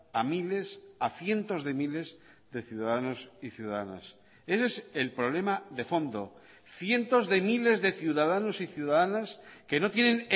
a miles a cientos de miles de ciudadanos y ciudadanas ese es el problema de fondo cientos de miles de ciudadanos y ciudadanas que no tienen